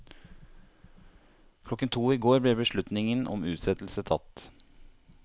Klokken to i går ble beslutningen om utsettelse tatt.